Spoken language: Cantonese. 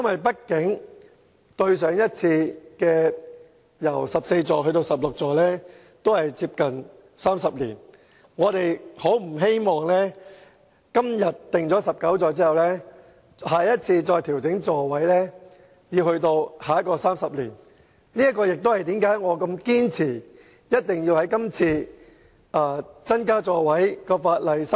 畢竟小巴座位由14個增至16個至今已接近30年，我們不希望今天決定把小巴座位增至19個後，要再等30年後才再次調整座位數目。